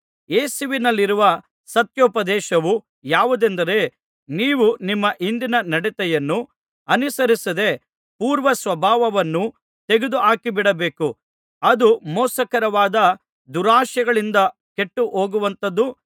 ಯೇಸುವಿನಲ್ಲಿರುವ ಸತ್ಯೋಪದೇಶವು ಯಾವುದೆಂದರೆ ನೀವು ನಿಮ್ಮ ಹಿಂದಿನ ನಡತೆಯನ್ನು ಅನುಸರಿಸದೇ ಪೂರ್ವಸ್ವಭಾವವನ್ನು ತೆಗೆದುಹಾಕಿಬಿಡಬೇಕು ಅದು ಮೋಸಕರವಾದ ದುರಾಶೆಗಳಿಂದ ಕೆಟ್ಟುಹೋಗುವಂಥದ್ದು